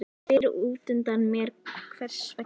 Ég spyr útundan mér hvers vegna